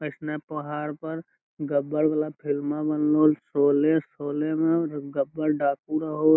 ऐसने पहाड़ पर गब्बर वाला फिल्मा बनलो शोले शोले में गब्बर डाकू रहो।